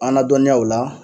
An nadɔnniya o la